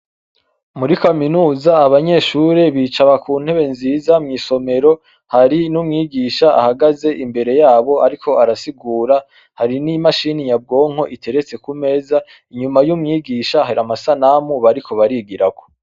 Muri kaminuza abanyeshure bicara ku ntebe nziza mw'isomero hari n'umwigisha ahagaze imbere yabo, ariko arasigura hari n'imashini yabwonko iteretse kumeza inyuma y'umwigisha hari amasanamu bariko barigirako.